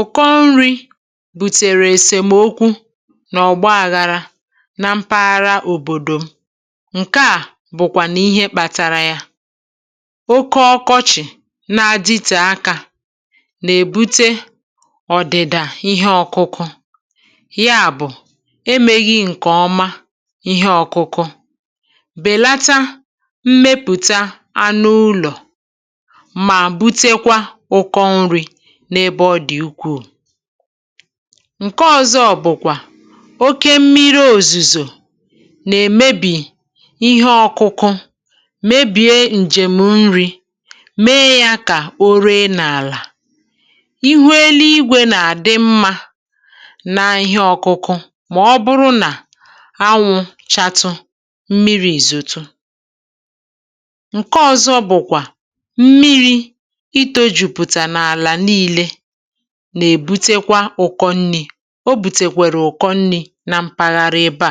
Ụ̀kọ nri̇ bùtèrè èsèmokwu nà ọ̀gbȧ àghara na mpaghara òbòdò m. Ǹke à bụ̀kwà nà ihe kpȧtȧrȧ yȧ. Oke ọkọchị̀ na-adịtè akȧ, nà-èbute ọ̀dị̀dà ihe ọ̇kụ̇kụ̇, ya bụ̀ emeghi̇ ǹkèọma ihe ọ̇kụ̇kụ̇, bèlata mmepùta anụ ụlọ̀ ma butekwa ụkọ nri n’ebe ọ dị̀ ukwuù. Ǹke ọ̇zọ̇ bụ̀kwà oke mmiri òzùzò, nà èmebì ihe ọ̇kụ̇kụ̇, mebìe ǹjèm nri, mee yȧ kà o ree n’àlà. Ihu elu igwė nà àdị mmȧ na ihe ọ̇kụ̇kụ̇, mà ọ bụrụ nà anwụ̇ chatụ mmiri ìzùtu. Ǹke ọ̇zọ̇ bụ̀kwà mmiri itojupụta n'ala niile nà-èbutekwa ụkọ nri̇. Ọ bùtèkwèrè ụkọ nri̇ na mpaghara ebe à,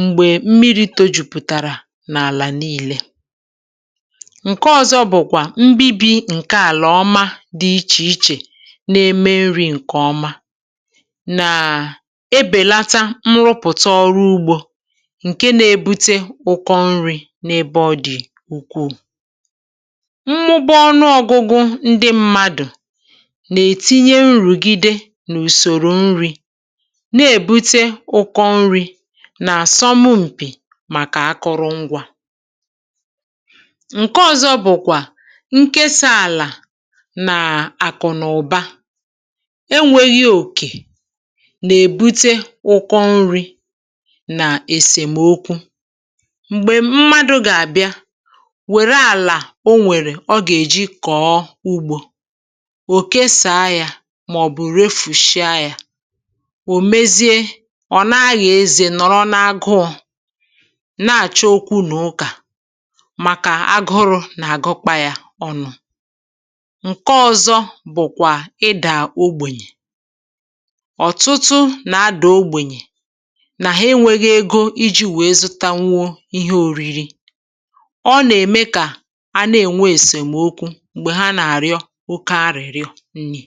m̀gbè mmiri̇ tọ̇ jùpùtàrà n’àlà nii̇lė. Ǹke ọ̀zọ bụ̀kwà mbibi ǹke àlà ọma dị̇ ichè-ichè nà-eme nri̇ ǹkè ọma, nàà ebèlata mrụpụ̀ta ọrụ ugbȯ, ǹke nȧ-ėbute ụkọ nri̇ n’ebe ọ dị̀ ukwuù. Mmụba ọnụ ọgụgụ ndị mmadụ nà-ètinye nrùgide n’ùsòrò nri̇, na-èbute ụkọ nri̇ nà àsọmụm̀pì màkà akụ̇rụngwȧ. Ǹke ọ̀zọ bụ̀kwà nkesa àlà nà-àkụ̀ n’ụ̀ba, enwėghi̇e òkè, nà-èbute ụkọ nri̇ nà èsèmokwu m̀gbè mmadụ̇ gà-àbịa wère àlà o nwèrè, ọ gà-èji kọ̀ọ ugbȯ, oke saa ya, màọ̀bụ̀ refùshịa yȧ. Ò mezie ọ̀ na-ȧgha eze nọ̀rọ n’agụọ̇, na-àcha okwu n’ụkà, màkà agụrụ̇ nà-àgụkpa yȧ ọnụ̇. Ǹke ọ̇zọ̇ bụ̀kwà ịdà ogbènyè. Ọ̀tụtụ nà-adà ogbènyè, nà ha enwėghi̇ ego iji̇ wee zụta nwuo ihe òriri. Ọ nà-ème kà a na-ènwe èsèmokwu mgbe ha n'arịọ oke arịrịọ nni.